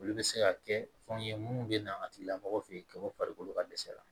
Olu bɛ se ka kɛ fɛnw ye minnu bɛ na a tigila mɔgɔ fe yen ka bɔ farikolo ka dɛsɛ la